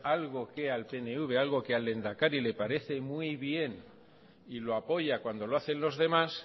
algo que al pnv algo que al lehendakari le parece muy bien y lo apoya cuando lo hacen los demás